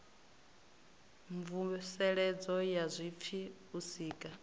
mvuseledzo ya zwipfi u sika